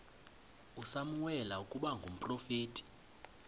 usamuweli ukuba ngumprofeti